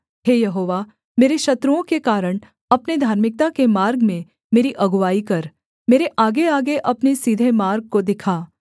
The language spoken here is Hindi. हे यहोवा मेरे शत्रुओं के कारण अपने धार्मिकता के मार्ग में मेरी अगुआई कर मेरे आगेआगे अपने सीधे मार्ग को दिखा